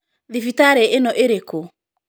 Thibitarĩ ĩno ĩrĩkũ?.